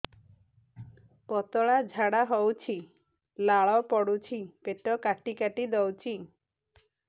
ପତଳା ଝାଡା ହଉଛି ଲାଳ ପଡୁଛି ପେଟ କାଟି କାଟି ଦଉଚି